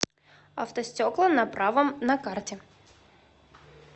автостекла на правом на карте